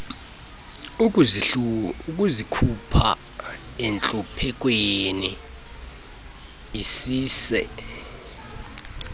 ukuzikhupha entluphekweni isise